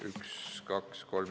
Üks, kaks, kolm ...